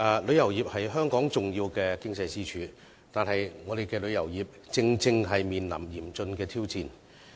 旅遊業是香港重要的經濟支柱，但我們的旅遊業卻正面臨嚴峻的挑戰。